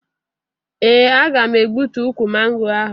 Ee, aga m egbutu ukwu mango ahụ